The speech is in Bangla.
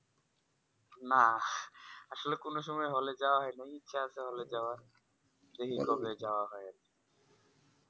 না আসলে কোনো সময় hall এ যাওয়া হয় না ইচ্ছা আছে hall এ যাওয়ার দেখি কবে যাওয়া হয়